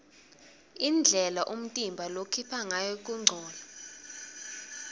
indlela umtimba lokhipha ngayo kungcola